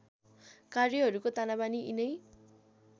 कार्यहरूको तानाबाना यिनै